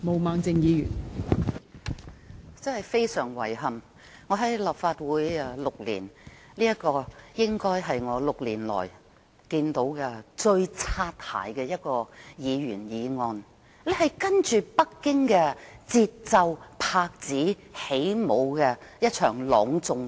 真的十分遺憾，在我擔任立法會議員這6年以來，這大概是最"擦鞋"的一項議員議案，是隨着北京的節奏上演的一場朗誦劇。